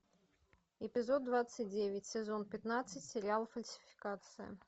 эпизод двадцать девять сезон пятнадцать сериал фальсификация